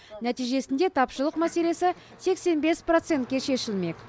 нәтижесінде тапшылық мәселесі сексен бес процентке шешілмек